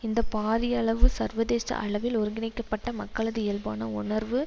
இந்த பாரியளவு சர்வதேச அளவில் ஒருங்கிணைக்கப்பட்ட மக்களது இயல்பான உணர்வு